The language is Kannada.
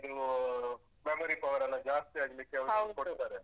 ಸದಾರ್ಣ ಇದು power ಎಲ್ಲ ಜಾಸ್ತಿ ಆಗ್ಲಿಕ್ಕೆ.